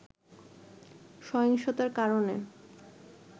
সহিংসতার কারণে